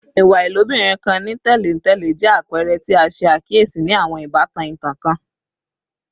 Iwa ilobirin kan ni tẹlentẹle jẹ apẹrẹ ti a ṣe akiyesi ni awọn ibatan itan kan